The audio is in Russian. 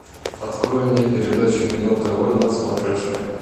открой мне передачу кино тв на смотрешке